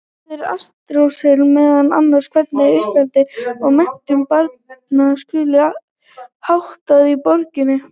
Þar ræðir Aristóteles meðal annars hvernig uppeldi og menntun barna skuli háttað í borgríkinu.